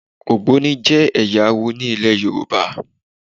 Ògbóni jẹ́ ẹ̀yà awo ní ilẹ̀ Yorùbá.